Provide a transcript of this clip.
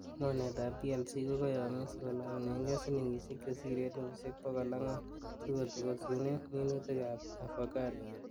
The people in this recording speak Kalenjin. Mornetab PLC ko kayomis kolongunenge silingisiek chesire elfusiek bogol angwan sikotokusunen minutikab avocado.